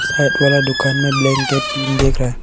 side वाला दुकान में ब्लैंकेट टीन दिख रहा--